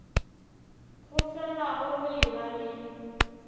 go felago go eba le